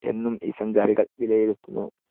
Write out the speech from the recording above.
എന്നും ഈ സഞ്ചാരികൾ വിലയിരുത്തുന്നു.